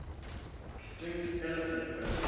extinct elephant birds